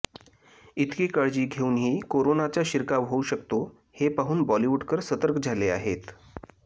इतकी काळजी घेऊनही कोरोनाचा शिरकाव होऊ शकतो हे पाहून बॉलिवुडकर सतर्क झाले आहेत